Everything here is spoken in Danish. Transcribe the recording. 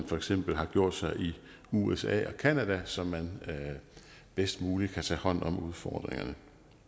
for eksempel har gjort sig i usa og canada så man bedst muligt kan tage hånd om udfordringerne